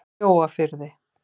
Mjóafirði